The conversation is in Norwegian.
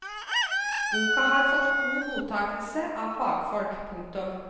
Boka har fått god mottakelse av fagfolk. punktum